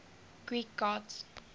greek gods